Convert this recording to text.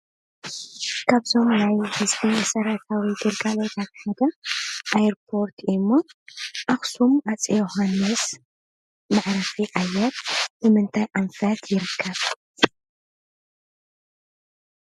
እዚ ኣብ ትግራይ ከተማ ኣክሱም ዝርከብ መዕርፎ ነፈርቲ ኣክሱም ዮውሃንስ ራብዓይ እንትከውን፣ እቲ ብትግርኛን ብእንግሊዝኛን ዘሎ ምልክት ነቲ ስም ብንጹር የርኢ። ብኦቤሊስክ ኣክሱምን ጥንታዊ ስልጣነን እትፍለጥ ታሪኻዊት ከተማ ኣክሱም ዘገልግል ቀንዲ መዓርፎ ነፈርቲ እዩ።